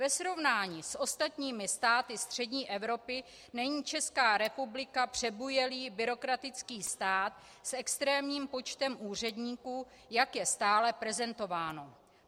Ve srovnání s ostatními státy střední Evropy není Česká republika přebujelý byrokratický stát s extrémním počtem úředníků, jak je stále prezentováno.